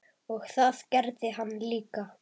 Og það gerði hann líka.